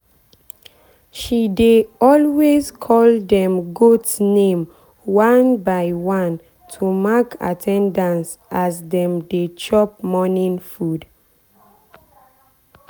she dey always call dem goat name one by one to mark at ten dance as dem dey chop morning food.